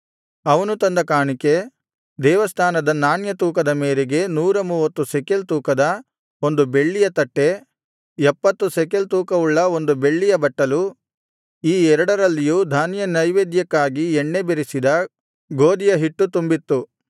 ಅವನು ತಂದ ಕಾಣಿಕೆ ದೇವಸ್ಥಾನದ ನಾಣ್ಯ ತೂಕದ ಮೇರೆಗೆ ನೂರ ಮೂವತ್ತು ಶೆಕೆಲ್ ತೂಕದ ಒಂದು ಬೆಳ್ಳಿಯ ತಟ್ಟೆ ಎಪ್ಪತ್ತು ಶೆಕೆಲ್ ತೂಕವುಳ್ಳ ಬೆಳ್ಳಿಯ ಒಂದು ಬಟ್ಟಲು ಈ ಎರಡರಲ್ಲಿಯೂ ಧಾನ್ಯನೈವೇದ್ಯಕ್ಕಾಗಿ ಎಣ್ಣೆ ಬೆರಸಿದ ಗೋದಿಯ ಹಿಟ್ಟು ತುಂಬಿತ್ತು